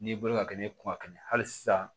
N'i bolo ka kɛ ne kuma ka kɛnɛ hali sisan